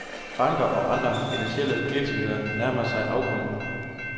Banker og andre finansielle virksomheder nærmede sig afgrunden.